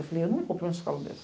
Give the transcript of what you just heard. Eu não vou para uma escola dessas.